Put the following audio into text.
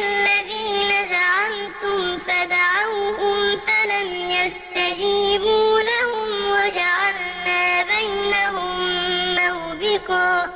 الَّذِينَ زَعَمْتُمْ فَدَعَوْهُمْ فَلَمْ يَسْتَجِيبُوا لَهُمْ وَجَعَلْنَا بَيْنَهُم مَّوْبِقًا